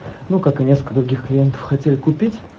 ну как и несколько других клиентов хотели купить